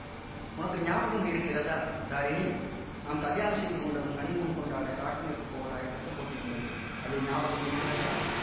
உனக்கு ஞாபகம் இருக்கிறதா தாரிணி நாம் கலியாணம் செய்து கொண்டதும் ஹனிமூன் கொண்டாடக் காஷ்மீருக்குப் போவதாகத் திட்டம் போட்டிருந்தோமே அது ஞாபகம் இருக்கிறதா